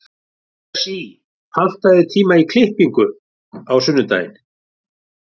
Esí, pantaðu tíma í klippingu á sunnudaginn.